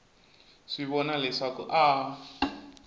swi vona leswaku a a